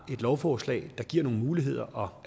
et lovforslag der giver nogle muligheder og